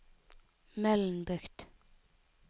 Mølnbukt